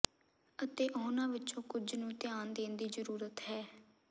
ਅਤੇ ਉਨ੍ਹਾਂ ਵਿਚੋਂ ਕੁਝ ਨੂੰ ਧਿਆਨ ਦੇਣ ਦੀ ਜ਼ਰੂਰਤ ਹੈ